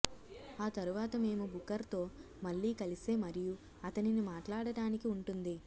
ఆ తరువాత మేము బుకర్ తో మళ్ళీ కలిసే మరియు అతనిని మాట్లాడటానికి ఉంటుంది